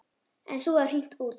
En svo var hringt út.